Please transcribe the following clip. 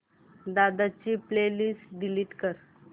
दादा ची playlist delete कर